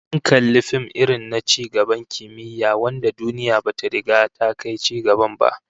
Mun kalli fim irin na ci gaban kimiyya wanda duniya bata riga ta kai cigaban ba